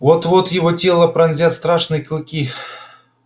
вот-вот его тело пронзят страшные клыки